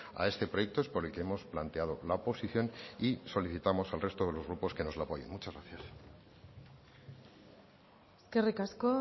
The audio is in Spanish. a este proyecto es por el que hemos planteado la oposición y solicitamos al resto de los grupos que nos lo apoyen muchas gracias eskerrik asko